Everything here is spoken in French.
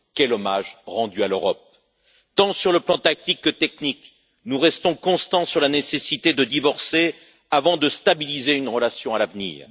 Quel hommage rendu à l'Europe! Tant sur le plan tactique que technique, nous restons constants sur la nécessité de divorcer avant de stabiliser une relation à l'avenir.